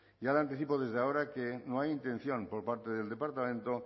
ya le anticipo desde ahora que no hay intención por parte del departamento